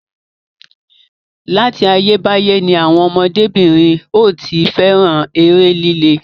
Láti ayé báyé ni àwọn ọmọdé-bìnrin ò tí fẹ́ràn eré líle.